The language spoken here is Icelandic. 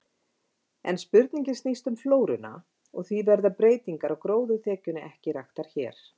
En spurningin snýst um flóruna, og því verða breytingar á gróðurþekjunni ekki raktar hér.